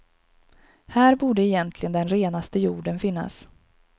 Här borde egentligen den renaste jorden finnas.